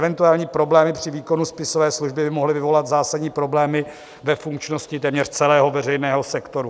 Eventuální problémy při výkonu spisové služby by mohly vyvolat zásadní problémy ve funkčnosti téměř celého veřejného sektoru.